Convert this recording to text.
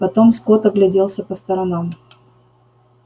потом скотт огляделся по сторонам